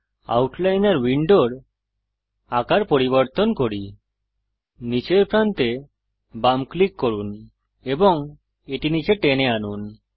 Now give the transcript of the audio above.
আউটলাইনর উইন্ডোর আকার পরিবর্তন করি নীচের প্রান্তে বাম ক্লিক করুন এবং এটি নীচে টেনে আনুন